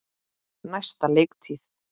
Næsta leiktíð?